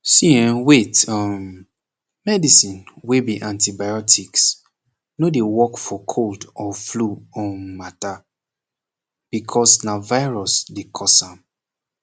see eh wait um medicine wey be antibiotics no dey work for cold or flu um mata becoz na virus dey cause am